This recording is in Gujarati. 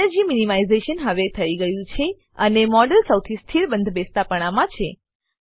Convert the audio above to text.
એનર્જી મીનીમાઈઝેશન હવે થઇ ગયું છે અને મોડેલ સૌથી સ્થિર બંધબેસતાપણામાં છે